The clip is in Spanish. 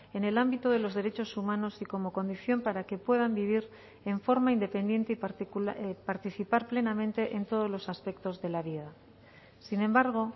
en el ámbito de los derechos humanos y como condición para que puedan vivir en forma independiente y participar plenamente en todos los aspectos de la vida sin embargo